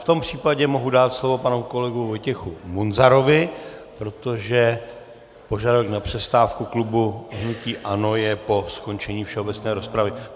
V tom případě mohu dát slovo panu kolegovi Vojtěchu Munzarovi, protože požadavek na přestávku klubu hnutí ANO je po skončení všeobecné rozpravy.